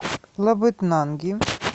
лабытнанги